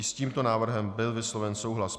I s tímto návrhem byl vysloven souhlas.